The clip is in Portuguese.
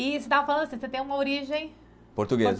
E você estava falando assim, você tem uma origem... Portuguesa.